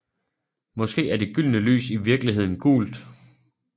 Måske er det gyldne lys i virkeligheden gult